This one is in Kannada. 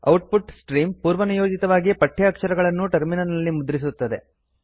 ಔಟ್ ಪುಟ್ ಸ್ಟ್ರೀಮ್ಸ್ ಪೂರ್ವನಿಯೋಜಿತವಾಗಿ ಪಠ್ಯ ಅಕ್ಷರಗಳನ್ನು ಟರ್ಮಿನಲ್ ನಲ್ಲಿ ಮುದ್ರಿಸುತ್ತದೆ